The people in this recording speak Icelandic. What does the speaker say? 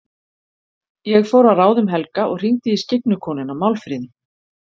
Ég fór að ráðum Helga og hringdi í skyggnu konuna, Málfríði.